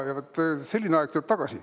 Ja selline aeg tuleb tagasi.